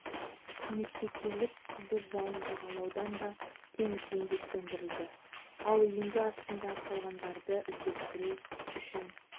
көмекке келіп қызыл жалын жағалаудан да теңізден де сөндірілді ал үйінді астында қалғандарды іздестіру үшін